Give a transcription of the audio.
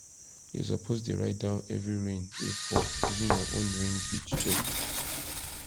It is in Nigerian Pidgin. you suppose dey write down every rain wey fall using your own rain gauge check